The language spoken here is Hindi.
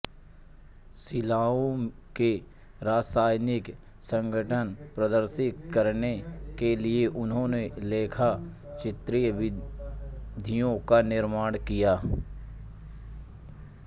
शिलाओं के रासायनिक संघटन प्रदर्शित करने के लिए इन्होंने लेखाचित्रीय विधियों का निर्माण किया